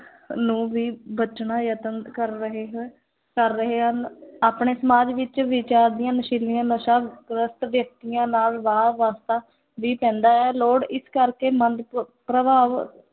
ਨੂੰ ਵੀ ਬਚਣਾ ਯਤਨ ਕਰ ਰਹੇ ਹੈ ਕਰ ਰਹੇ ਹਨ ਆਪਣੇ ਸਮਾਜ ਵਿੱਚ ਨਸ਼ੀਲੀਆਂ ਨਸ਼ਾਂ ਗ੍ਰਸਤ ਵਿਅਕਤੀਆਂ ਨਾਲ ਵਾਹ ਵਾਸਤਾ ਵੀ ਪੈਂਦਾ ਹੈ, ਲੋੜ ਇਸ ਕਰਕੇ ਮੰਦ ਪ ਪ੍ਰਭਾਵ